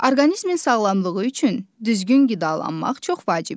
Orqanizmin sağlamlığı üçün düzgün qidalanmaq çox vacibdir.